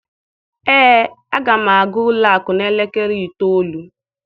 Ee, aga m aga ụlọ akụ n'elekere itoolu